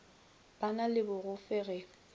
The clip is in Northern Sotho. ba na le mogofe ge